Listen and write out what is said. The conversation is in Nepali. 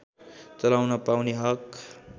चलाउन पाउने हक